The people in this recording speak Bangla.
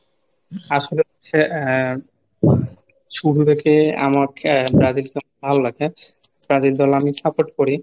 আসলে আহ শুরু থেকে আমাকে ব্রাজিল ভালো লাগে ব্রাজিল দল আমি support করি.